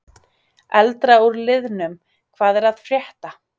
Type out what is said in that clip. Eldra úr liðnum: Hvað er að frétta?